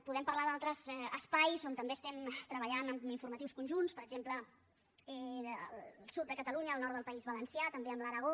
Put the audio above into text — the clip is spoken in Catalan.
podem parlar d’altres espais on també estem treballant amb informatius conjunts per exemple el sud de catalunya el nord del país valencià també amb l’aragó